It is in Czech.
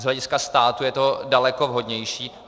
Z hlediska státu je to daleko vhodnější.